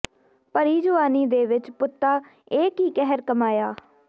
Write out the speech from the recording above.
ਭਰੀ ਜਵਾਨੀ ਦੇ ਵਿੱਚ ਪੁੱਤਾ ਇਹ ਕੀ ਕਹਿਰ ਕਮਾਇਆ